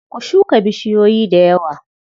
Ku shuka bushiyoyi dayawa.